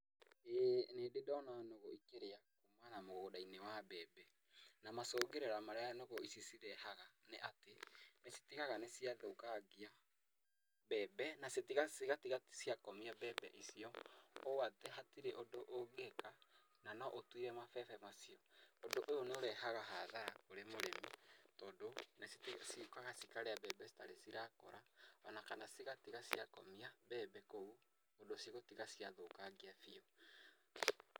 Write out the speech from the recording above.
ĩĩ nĩ ndĩ ndona nũgũ ikĩrĩa kũma na mũgũnda-inĩ wa mbembe na macũngĩrĩra marĩa nũgũ ici cirehaga nĩ atĩ nĩ citigaga nĩ ciathũkangia mbembe na cigatiga cia komia mbembe icio, ũũ atĩ hatirĩ ũndũ ũngĩka na no ũtuire mabebe macio. Ũndũ ũyũ nĩ ũrehaga hathara harĩ mũrĩmi tondũ ciũkaga cikarĩa mbembe citarĩ cirakũra ona kana cigatiga ciakomia mbembe kũu ũndũ cigũtiga ciathũkangia biũ.